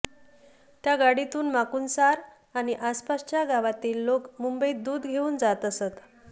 त्या गाडीतून माकुणसार आणि आसपासच्या गावातील लोक मुंबईत दूध घेऊन जात असत